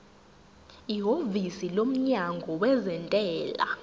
ihhovisi lomnyango wezentela